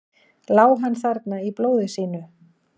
Lá hann þarna í blóði sínu?